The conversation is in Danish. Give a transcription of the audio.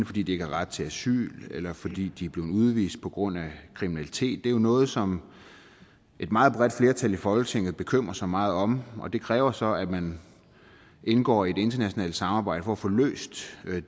fordi de ikke har ret til asyl eller fordi de er blevet udvist på grund af kriminalitet det er jo noget som et meget bredt flertal i folketinget bekymrer sig meget om og det kræver så at man indgår i et internationalt samarbejde for at få løst